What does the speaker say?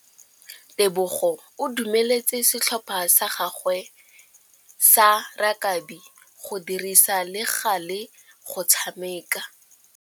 Tebogô o dumeletse setlhopha sa gagwe sa rakabi go dirisa le galê go tshameka.